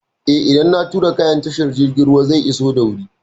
Eh, idan an turo kayan ta tashar jirgin ruwa zai iso da wuri.